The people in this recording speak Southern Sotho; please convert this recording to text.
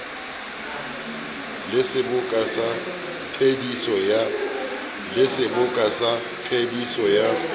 le seboka sa phediso ya